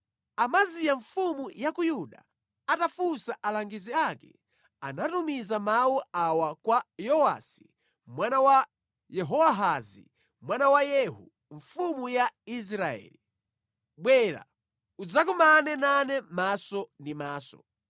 Amaziya mfumu ya ku Yuda, atafunsa alangizi ake, anatumiza mawu awa kwa Yowasi mwana wa Yehowahazi mwana wa Yehu, mfumu ya Israeli: “Bwera udzakumane nane maso ndi maso.”